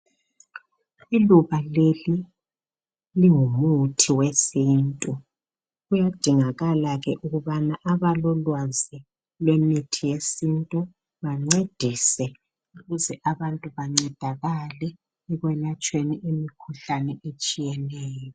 Iluba leli lingumuthi wesintu kuyadingakala ke ukubana abalolwazi lwemithi yesintu bancedise ukuze abantu bencedakale ekwelatshweni imikhuhlane etshiyeneyo.